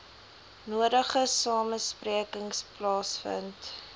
nodige samesprekings plaasgevind